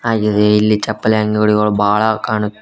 ಆಗಿದೆ ಇಲ್ಲಿ ಇಲ್ಲಿ ಚಪ್ಪಲಿ ಅಂಗಡಿಗಳು ಬಾಳ ಕಾಣು--